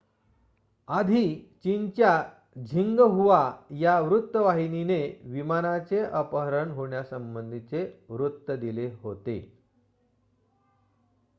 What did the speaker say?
आधी चीनच्या झिंगहुआ या वृत्तवाहिनीने विमानाचे अपहरण होण्यासंबंधी वृत्त दिले होते